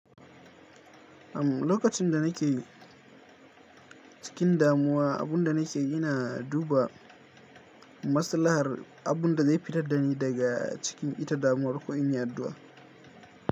Am lokacin da nake cikin damuwa, abun da nake yana duba maslahar abunda zai fitar dani daga cikin ita, damuwar ko in yi addu’a.